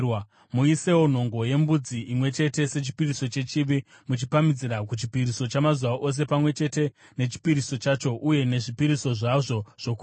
Muisewo nhongo yembudzi imwe chete sechipiriso chechivi, muchipamhidzira kuchipiriso chamazuva ose pamwe chete nechipiriso chacho uye nezvipiriso zvazvo zvokunwa.